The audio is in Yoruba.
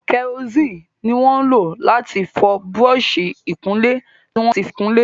Karosíìnì ni wọn ń lò láti fọ búrọ́ọ̀sì ìkunlé tí wọ́n fi kunlé.